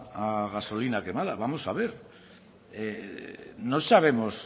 a gasolina quemada vamos a ver no sabemos